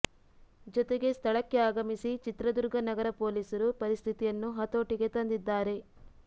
ಜೊತೆಗೆ ಸ್ಥಳಕ್ಕೆ ಆಗಮಿಸಿ ಚಿತ್ರದುರ್ಗ ನಗರ ಪೊಲೀಸರು ಪರಿಸ್ಥಿತಿಯನ್ನು ಹತೋಟಿಗೆ ತಂದಿದ್ದಾರೆ